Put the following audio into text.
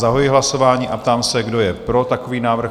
Zahajuji hlasování a ptám se, kdo je pro takový návrh?